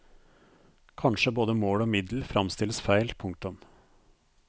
Kanskje både mål og middel fremstilles feil. punktum